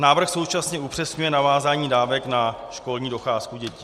Návrh současně upřesňuje navázání dávek na školní docházku dětí.